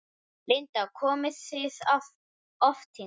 Linda: Komið þið oft hingað?